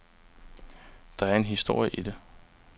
Der er en historie i det.